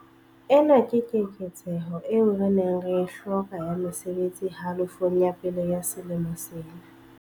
Ena ke keketseho eo re neng re e hloka ya mesebetsi halofong ya pele ya selemo sena.